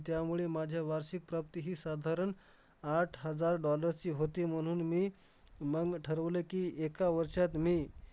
असंही नाही करू शकत होतो मित्रांचे नाव बोलूया तर माझ्याकडून जास्त अपेक्षा होती तर मॅडमना खूप वाईट वाटलं त्या टाईमला